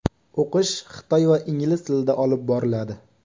O‘qish xitoy va ingliz tilida olib boriladi.